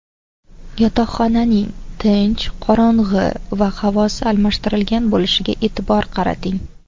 Yotoqxonaning tinch, qorong‘i va havosi almashtirilgan bo‘lishiga e’tibor qarating.